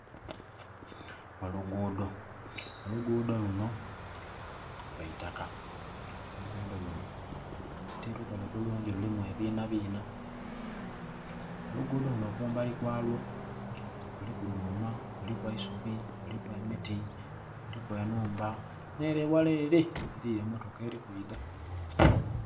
Olugudho, olugudho lunho lwa itaka, olugudho lunho ti lukole bulungi mulimu ebina bina. Olugudho lunho kumbali kwalwo kuliku dhuma, kuliku eisubi, kuliku emiti, kuliku enhumba nhere eghala ere eriyo emotoka eri kwidha.